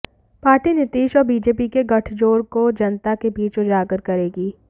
party Nitish और BJP के गठजोड़ को जनता के बीच उजागर करेगी